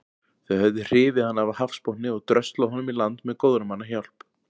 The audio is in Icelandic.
Þau höfðu hrifið hann af hafsbotni og dröslað honum í land með góðra manna hjálp.